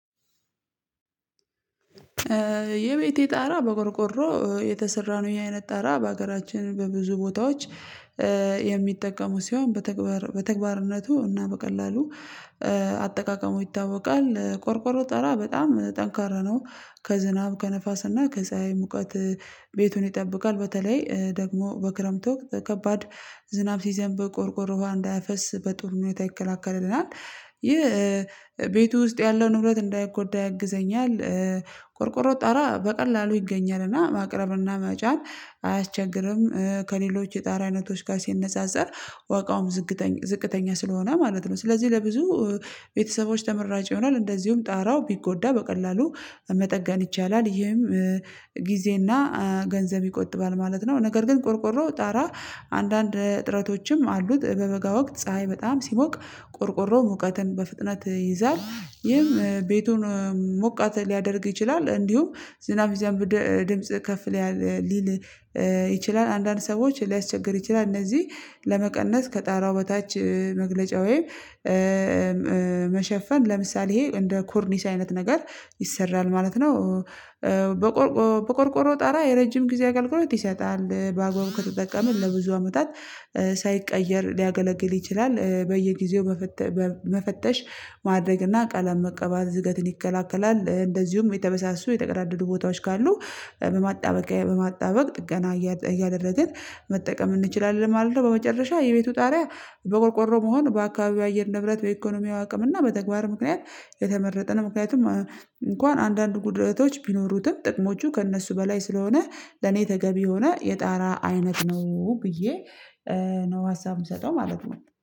የቤቴ ጣራ በቆርቆሮ የተሰራ ነው የኛ ቤት ጣራ በሀገራችን በብዙ ቦታዎች የሚጠቀሙ ሲሆን በተግባር በተግባርነቱ እና በቀላሉ አጠቃቀሙ ይታወቃል። ቆርቆሮ ጠራ በጣም ጠንካራ ነው። ከዝናብ ከነፋስና ከፀሀይ ሙቀት ቤቱን ይጠብቃል በተለይ ደግሞ በክረምት ወቅት ከባድ ዝናብ ሲዘንብ ቆርቆሮ ዋሃ እንዳያፈስ በጥሩ ሁኔታ ይከላከልልናል። ይህ ቤቱ ውስጥ ያለውን ንብረት እንዳይጎዳ ያግዘኛል። ቆርቆሮ ጣራ በቀላሉ ይገኛል እና ማቅረብ እና መጫን አያስቸግርም። ከሌሎች የጣሪያ አይነቶች ጋር ሲነጻጸር ዋጋውም ዝቅተኛ ዝቅተኛ ስለሆነ ማለት ነው። ስለዚህ ለብዙ ቤተሰቦች ተመራጭ ይሆናል። እንደዚሁም ጣራው ቢጎዳ በቀላሉ መጠገን ይቻላል። ይህም ጊዜና ገንዘብ ይቆጥባል ማለት ነው። ነገር ግን ቆርቆሮ ጣራ አንዳንድ እጥረቶችም አሉት። በበጋ ወቅት ፀሀይ በጣም ሲሞቅ ቆርቆሮ ሙቀትን በፍጥነት ይይዛል ይህም ቤቱን ሙቀት ሊያደርግ ይችላል። እንዲሁም ዝናብ ይዘንብ ድምጽ ከፍ ሊል ይችላል። አንዳንድ ሰዎች ሊያስቸግር ይችላል። እነዚህ ለመቀነስ ከጣራው በታች መግለጫ ወይም ለምሳሌ ይሄ እንደ ኮርኒስ አይነት ነገር ይሰራል ማለት ነው። በቆርቆሮ ጣራ የረጅም ጊዜ አገልግሎት ይሰጣል በአግባቡ ከተጠቀመን ለብዙ አመታት ሳይቀየር ሊያገለግል ይችላል። በየጊዜው መፈተሽ ማድረግና ቀለም መቀባት ዝገትን ይከላከላል እንደዚሁም የተበሳሱ የተቀዳደዱ ቦታዎች ካሉ በማጣበቂያ በማጣበቅ ጥገና እያደረግን መጠቀም እንችላለን ማለት ነው። በመጨረሻ የቤቱ ጣሪያ በቆርቆሮ መሆን በአካባቢው አየር ንብረት በኢኮኖሚው አቅም እና በተግባር ምክንያት የተመረጠ ነው። ምክንያቱም እንኳን አንዳንድ ጉድለቶች ቢኖሩትም ጥቅሞቹ ከእነሱ በላይ ስለሆነ ለኔ ተገቢ የሆነ የጣራ አይነት ነው ብዬ ነው ሀሳብ የምሰጠው ማለት ነው